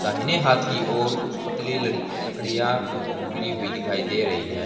दाहिने हाथ की और कुछ पतली लड़की लड़कियां गिरी हुई दिखाई दे रही है।